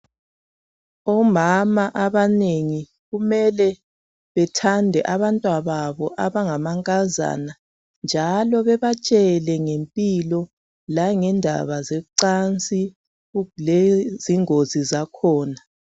Omama abanengi kumele bethande abantwa babo abangamankazana njalo bebatshele ngempilo langendaba zocansi lezingozi zakhona.